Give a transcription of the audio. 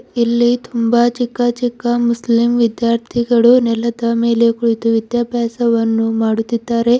ಇಲ್ಲಿ ತುಂಬಾ ಚಿಕ್ಕ ಚಿಕ್ಕ ಮುಸ್ಲಿಂ ವಿದ್ಯಾರ್ಥಿಗಳು ನೆಲದ ಮೇಲೆ ಕುಳಿತು ವಿದ್ಯಾಭ್ಯಾಸವನ್ನು ಮಾಡುತ್ತಿದ್ದಾರೆ.